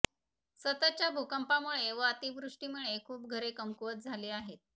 सततच्या भूकंपामुळे व अतिवृष्टीमुळे खूप घरे कमकुवत झाली आहेत